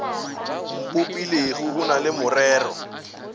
mpopilego o na le morero